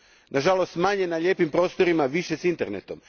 Nažalost manje na lijepim prostorima, više s internetom.